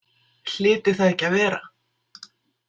Hlyti það ekki að vera?